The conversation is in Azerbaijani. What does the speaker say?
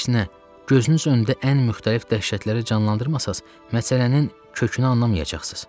Gözünüz önündə ən müxtəlif dəhşətləri canlandırmasanız, məsələnin kökünü anlamayacaqsınız.